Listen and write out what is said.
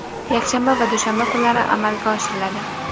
yakshanba va dushanba kunlari amalga oshiriladi.